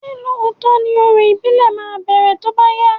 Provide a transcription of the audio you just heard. Ṣé lóòtọ́ ni orò ìbílẹ̀ máa bẹrẹ tóbá yá?